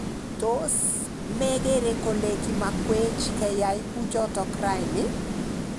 Tos me gere kole kimakwech keyai kuchot raini?